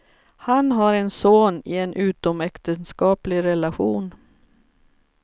Han har en son i en utomäktenskaplig relation.